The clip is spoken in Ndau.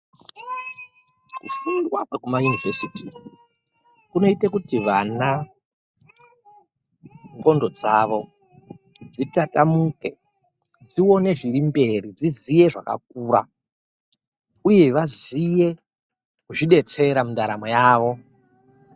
Kufundwa kwekumayunivheziti kunoite kuti vana ndxondo dzavo dzitatamu dzione zvirimberi dziziye zvakakura . Uye vaziye kuzvidetsera mundaramo yawo